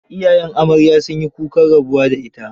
Iyayen amarya sun yi kukan rabuwa da ita.